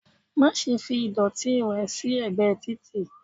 má ṣe fí ìdòtí rẹ sí ẹgbẹ Tìtì